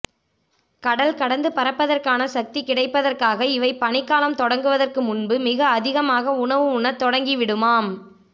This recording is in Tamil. கடல் கடந்து பறப்பதற்கான சக்தி கிடைப்பதற்காக இவை பனிக்காலம் தொடங்குவதற்கு முன்பு மிக அதிகமாக உணவு உண்ணத் தொடங்கி விடுமாம்